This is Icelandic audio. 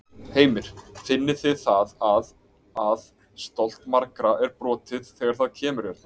Heimir: Finnið þið það að, að stolt margra er brotið þegar það kemur hérna?